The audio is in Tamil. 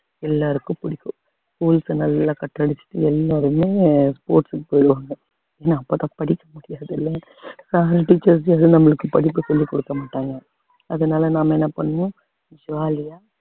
எல்லாருக்கும் பிடிக்கும் schools அ நல்லா cut அடிச்சுட்டு எல்லாருமே sports க்கு போயிடுவாங்க ஏன்னா அப்பதான் படிக்க முடியாதுல்ல அதனால teachers யாரும் நம்மளுக்கு படிப்பு சொல்லிக் கொடுக்க மாட்டாங்க அதனால நாம என்ன பண்ணுவோம் jolly யா